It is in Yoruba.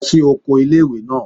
Lọ sí oko ilé-ìwé náà!